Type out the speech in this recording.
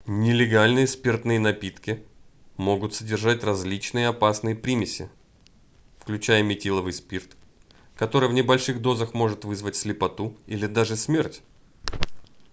нелегальные спиртные напитки могут содержать различные опасные примеси включая метиловый спирт который в небольших дозах может вызвать слепоту или даже смерть